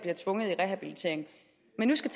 mennesker